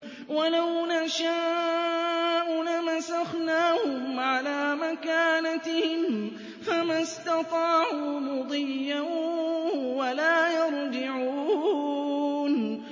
وَلَوْ نَشَاءُ لَمَسَخْنَاهُمْ عَلَىٰ مَكَانَتِهِمْ فَمَا اسْتَطَاعُوا مُضِيًّا وَلَا يَرْجِعُونَ